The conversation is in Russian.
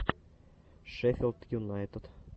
шеффилд юнайтед